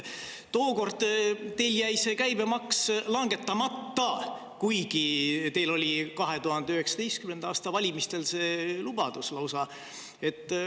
Tookord teil jäi see käibemaks langetamata, kuigi teil oli 2019. aasta valimistel see lubadus lausa.